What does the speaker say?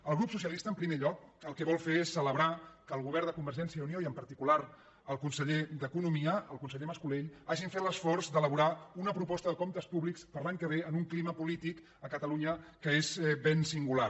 el grup socialista en primer lloc el que vol fer és celebrar que el govern de convergència i unió i en particular el conseller d’economia el conseller mas·colell hagin fet l’esforç d’elaborar una proposta de comptes públics per a l’any que ve en un clima polític a catalunya que és ben singular